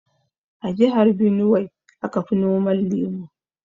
A jihar Binuwai aka fi noman lemu.